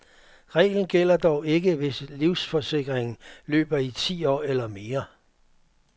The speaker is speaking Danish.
Reglen gælder dog ikke, hvis livsforsikringen løber i ti år eller mere.